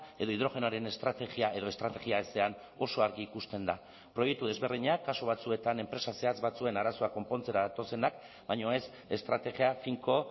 edo hidrogenoaren estrategia edo estrategia ezean oso argi ikusten da proiektu desberdinak kasu batzuetan enpresa zehatz batzuen arazoak konpontzera datozenak baina ez estrategia finko